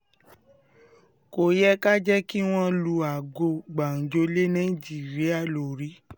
kò yẹ ká jẹ́ kí wọ́n lu aago gbàǹjo lé nàìjíríà lórí